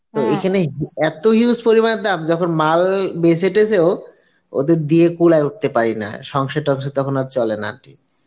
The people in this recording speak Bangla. তো এইখানে এত huge পরিমাণে দাম যখন মাল বেছেঁয় ওদের দিয়া কুলায় উঠতে পারি না সংসার-টংসার তখন আর চলে না aunty